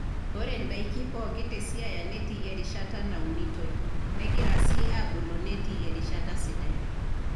Ore ndaiki pookin te siaya netii erishata naunitoi negira sii aabulu netii erishata sidai.